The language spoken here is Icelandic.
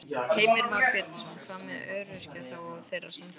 Heimir Már Pétursson: Hvað með öryrkja þá og þeirra samtök?